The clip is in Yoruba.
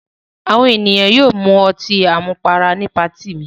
Àwọn ènìyàn yóò mu ọtí àmupara ní patí mi.